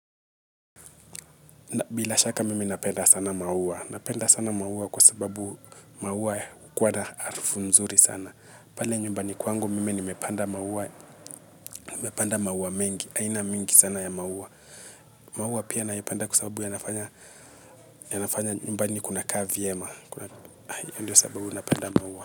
Bila shaka mimi napenda sana maua, napenda sana maua kwa sababu maua hukuwa harufu nzuri sana. Pale nyumbani kwangu mimi nimepanda maua, nimepanda maua mengi, aina mingi sana ya maua. Maua pia nayapanda kwa sababu yanafanya nyumbani kuna kaa vyema, hiyo ndo sababu napenda maua.